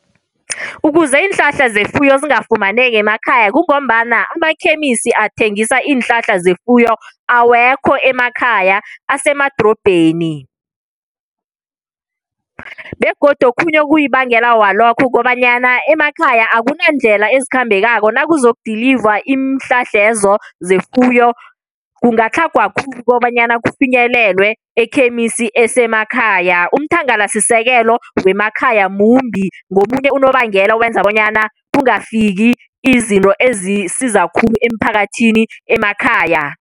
Ukuze iinhlahla zefuyo zingafumaneki emakhaya, kungombana amakhemisi athengisa iinhlahla zefuyo awekho emakhaya, asemadrobheni. Begodu okhunye okuyibangela yalokho kukobanyana emakhaya akunandlela ezikhambekako nakuzoku-deliver iinhlahlezo zefuyo. Kungatlhagwa khulu ukobanyana kufinyelelwe ekhemisi esemakhaya. Umthangalasisekelo wemakhaya mumbi. Ngomunye unobangela owenza bonyana kungafiki izinto ezisiza khulu emphakathini emakhaya.